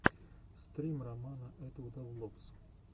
стрим романа этвуда влогс